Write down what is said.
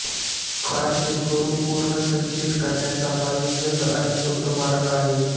कारचे स्वरूप पुनर्संचयित करण्याचा हा एक जलद आणि स्वस्त मार्ग आहे